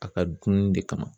A ka dunni de kama.